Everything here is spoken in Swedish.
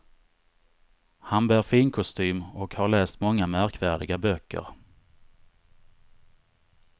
Han bär fin kostym och har läst många märkvärdiga böcker.